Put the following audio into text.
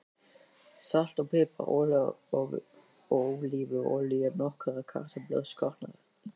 Salt og pipar Ólífuolía Nokkrar kartöflur skornar í bita.